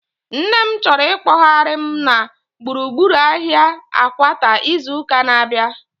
Nne m chọrọ ikpoghari m na gburugburu ahia Akwata izu ụka na-abịa